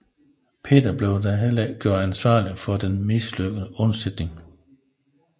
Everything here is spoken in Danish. Peter blev da heller ikke gjort ansvarlig for den mislykkede undsætning